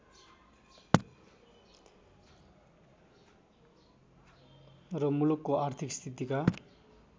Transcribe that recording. र मुलुकको आर्थिक स्थितिका